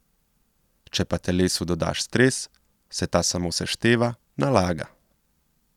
Če pa telesu dodaš stres, se ta samo sešteva, nalaga.